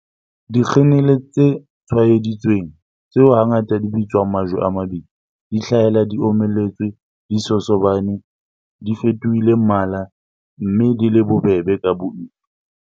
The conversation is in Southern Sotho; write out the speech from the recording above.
Dikhenele tse tshwaeditsweng, tseo hangata di bitswang 'majwe a mabitla' di hlahela di omelletse, di sosobane, di fetohile mmala, mme di le bobebe ka boima.